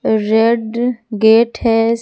Red gate है।